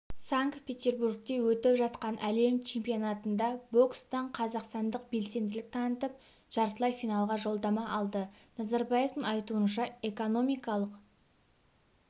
санкт-петербургте өтіп жатқан әлем чемпионатында бокстан қазақстандық белсенділік танытып жартылай финалға жолдама алды назарбаевтың айтуынша экономикалық